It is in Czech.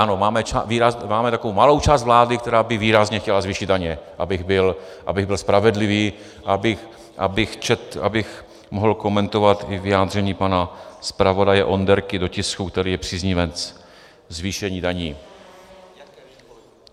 Ano, máme takovou malou část vlády, která by výrazně chtěla zvýšit daně, abych byl spravedlivý, abych mohl komentovat i vyjádření pana zpravodaje Onderky do tisku, který je příznivec zvýšení daní.